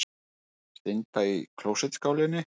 Synda í klósettskálinni.